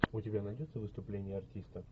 у тебя найдется выступление артиста